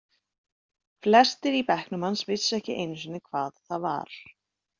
Flestir í bekknum hans vissu ekki einu sinni hvað það var.